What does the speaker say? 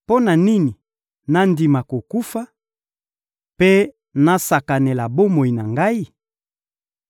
Mpo na nini nandima kokufa mpe nasakanela bomoi na ngai?